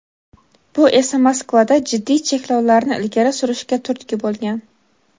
Bu esa Moskvada jiddiy cheklovlarni ilgari surishga turtki bo‘lgan.